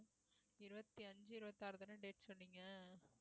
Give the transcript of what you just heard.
இருபத்தி அஞ்சு இருபத்தி ஆறுதானே date சொன்னீங்க